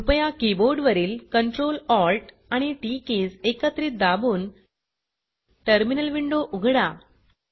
कृपया कीबोर्ड वरील Ctrl Alt आणि टीटी कीज एकत्रित दाबून टर्मिनल विंडो उघडा